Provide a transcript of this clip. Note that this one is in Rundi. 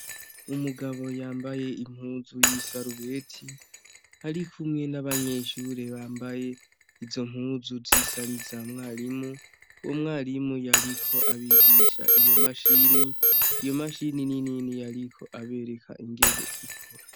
Umugabo yambaye impuzu y' isarubeti , arikumwe n' abanyeshure bambaye izo mpuzu zisa n'iza mwarimu. Umwarimu yariko abigisha iyo mashini, iyo mashini ni nini yariko abereka ingene ikora.